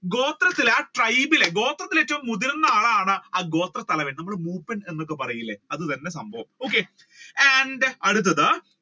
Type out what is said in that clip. ഗോത്രത്തിലെ അല്ലെങ്കിൽ ആ tribe ലെ ഗോത്രത്തിൽ ഏറ്റവും മുതിർന്ന ആ ഗോത്ര തലവൻ നമ്മൾ മൂപ്പൻ എന്നൊക്കെ പറയില്ലേ അത് തന്നെ സംഭവം okay and അടുത്തത്